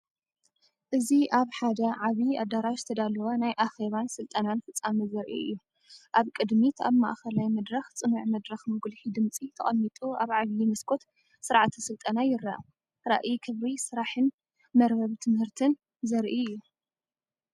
እዚ ኣብ ሓደ ዓቢ ኣዳራሽ ዝተዳለወ ናይ ኣኼባን ስልጠናን ፍጻመ ዘርኢ እዩ። ኣብ ቅድሚት ኣብ ማእከላይ መድረኽ ጽኑዕ መድረኽ መጉልሒ ድምጺ ተቐሚጡ ኣብ ዓቢ መስኮት ስርዓተ ስልጠና ይርአ። ራእይ ክብሪ ስራሕን መርበብ ትምህርትን ዘርኢ እዩ።